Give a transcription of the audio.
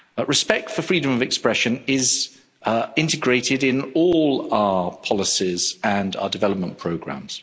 Respect for freedom of expression is integrated in all our policies and our development programmes.